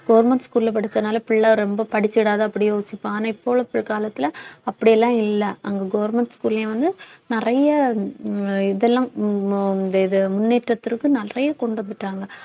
government school ல படிச்சதுனால பிள்ள ரொம்ப படிச்சிடாத அப்படி யோசிப்போம் ஆனா இப்போ உள்ள காலத்துல அப்படி எல்லாம் இல்ல அங்க government school லயும் வந்து நிறைய உம் இதெல்லாம் உம் இந்த இது முன்னேற்றத்திற்கு நிறைய கொண்டு போயிட்டாங்க